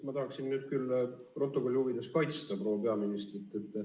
Ma tahaksin nüüd küll protokolli huvides kaitsta proua peaministrit.